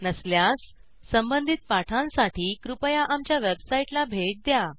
नसल्यास संबंधित पाठांसाठी कृपया आमच्या वेबसाईटला भेट द्या